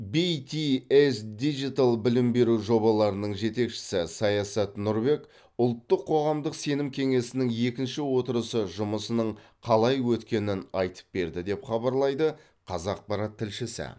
битиэс дижитал білім беру жобаларының жетекшісі саясат нұрбек ұлттық қоғамдық сенім кеңесінің екінші отырысы жұмысының қалай өткенін айтып берді деп хабарлайды қазақпарат тілшісі